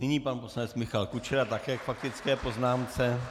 Nyní pan poslanec Michal Kučera také k faktické poznámce.